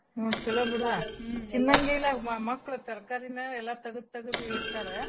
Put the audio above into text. ಹ್ಞೂ ಚಲೋ ಬಿಡ್ವಾ ತಿನ್ನಂಗೆೇಲ್ಲಾಅವು ಮಕ್ಳು ತರ್ಕಾರೀನ ಎಲ್ಲಾ ತಗ್ದ ತಗ್ದಇಡ್ತಾರಾ .